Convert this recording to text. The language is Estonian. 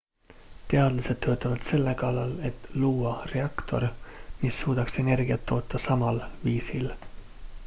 teadlased töötavad selle kallal et luua reaktor mis suudaks energiat toota samal viisil